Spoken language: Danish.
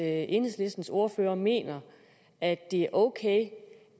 at enhedslistens ordfører mener at det er okay